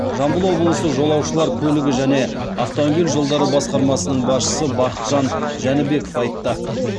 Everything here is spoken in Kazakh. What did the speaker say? жамбыл облысы жолаушылар көлігі және автомобиль жолдары басқармасының басшысы бақытжан жәнібеков айтты